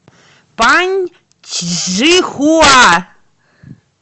паньчжихуа